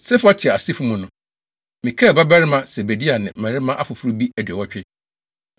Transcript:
Sefatia asefo mu no: Mikael babarima Sebadia ne mmarima afoforo bi aduɔwɔtwe.